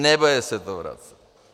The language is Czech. Nebude se to vracet.